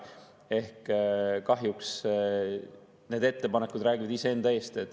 Ehk kahjuks need ettepanekud räägivad ise enda eest.